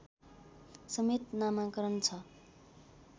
समेत नामाकरण छ